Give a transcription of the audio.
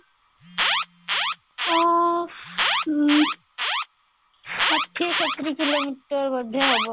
ଊ ଊଁ ଷାଠିଏ ସତୁରୀ କିଲୋମିଟର ବୋଧେ ହେବ